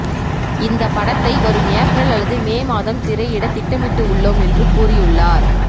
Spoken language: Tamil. இந்த படத்தை வரும் ஏப்ரல் அல்லது மே மாதம் திரையிட திட்டமிட்டு உள்ளோம் என்று கூறியுள்ளார்